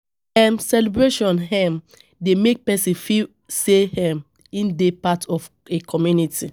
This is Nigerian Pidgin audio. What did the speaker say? um Celebration um dey make person feel sey um im dey part of a community